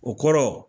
O kɔrɔ